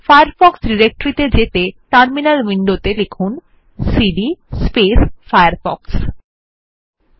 Firefox directory ত়ে যেতে terminal উইনডোত়ে সিডি ফায়ারফক্স কমান্ড টি লিখুন